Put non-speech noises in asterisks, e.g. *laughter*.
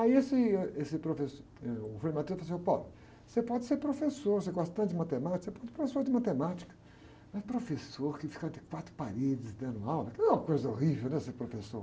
Aí esse, esse profes, eh, o frei *unintelligible* falou assim, ô, *unintelligible* você pode ser professor, você gosta tanto de matemática, pode ser professor de matemática, mas professor tem que fica entre quatro paredes dando aula, que não é uma coisa horrível, né? Ser professor.